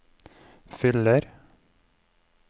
fyller